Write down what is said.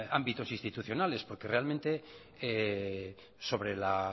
ámbitos institucionales porque realmente sobre la